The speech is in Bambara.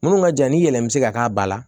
Minnu ka jan ni yɛlɛ min bɛ se ka k'a ba la